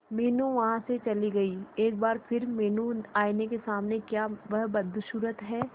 मीनू वहां से चली गई एक बार फिर मीनू आईने के सामने क्या वह बदसूरत है